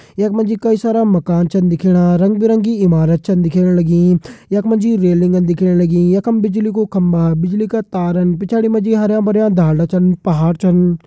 यख मा जी कई सारा मकान छन दिखेणा रंग बिरंगी इमारत छन दिखेण लगीं यख मा जी रेलिंगन छन दिखेण लगीं यखम बिजली का खम्बा बिजली का तारन पिछाड़ी मा जी हरयां भरयां ढालदा छन पहाड़ छन।